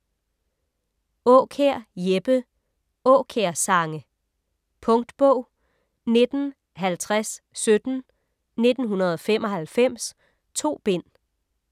Aakjær, Jeppe: Aakjær sange Punktbog 195017 1995. 2 bind.